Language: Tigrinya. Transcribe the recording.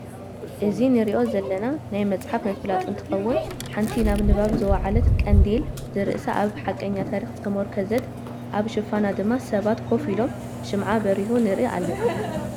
እዚ ንሪኦ ዘለና ናይ መፅሓፍ ምፍላጥ እንትከዉን ሓንቲ ናብ ንባብ ዝወዓለት ቀንዴል ዝርእሳ ኣብ ሓቀኛ ታሪኽ ዝተሞርከዘት ኣብ ሽፋና ድማ ስባት ኮፍ ኢሎም ሽምዓ ብሪሁ ንርኢ ኣልና ።